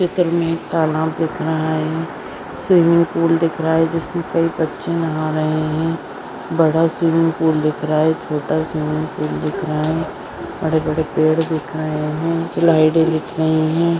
चित्र मे एक तालाब दिख रहा है स्विमिंग पूल दिख रहा है जिसमे कई बच्चे नहा रहे है बड़ा स्विमिंग पूल दिख रहा है छोटा स्विमिंग पूल दिख रहा है बड़े बड़े पेड़ दिख रहे है लाईटे दिख रही है।